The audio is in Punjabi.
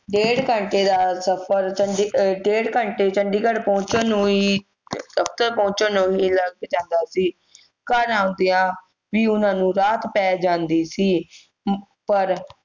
ਡੇਢ ਘੰਟੇ ਦਾ ਸਫ਼ਰ ਚੂੰਢੀ ਅਹ ਡੇਢ ਘੰਟੇ ਚੰਡੀਗੜ੍ਹ ਪਹੁੰਚਣ ਨੂੰ ਹੀ ਪਹੁੰਚਣ ਨੂੰ ਹੀ ਲੱਗ ਜਾਂਦਾ ਸੀ ਘਰ ਆਉਂਦਿਆਂ ਵੀ ਉਹਨਾਂ ਨੂੰ ਰਾਤ ਪੈ ਜਾਂਦੀ ਸੀ ਅਹ ਪਰ